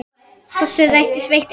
Hvort þau rættust veit enginn.